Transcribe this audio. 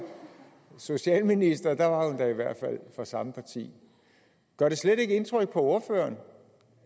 socialminister var hun da i hvert fald fra samme parti gør det slet ikke indtryk på ordføreren